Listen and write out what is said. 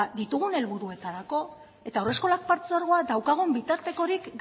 ditugun helburuetarako eta haurreskolak partzuergoan daukagun bitartekorik